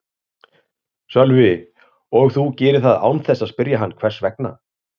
Sölvi: Og þú gerir það án þess að spyrja hann hvers vegna?